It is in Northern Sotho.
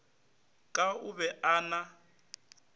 ka o be a na